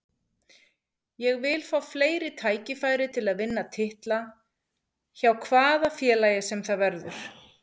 Ég vil fá fleiri tækifæri til að vinna titla, hjá hvaða félagi sem það verður.